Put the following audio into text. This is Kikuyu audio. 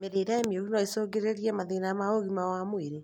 Mĩrĩre mĩũru noĩcũngĩrĩrie mathĩna ma ũgima wa mwĩrĩ